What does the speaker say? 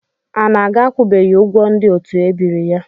Anaga akwụbeghị ụgwọ ndị otu ebiri ya.